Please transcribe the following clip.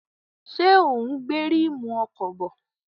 Ṣé ò ń gbé ríìmù ọkọ̀ bọ̀?